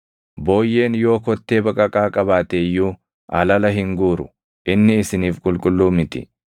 Booyyeen yoo kottee baqaqaa qabaate iyyuu alala hin guuru; inni isiniif qulqulluu miti.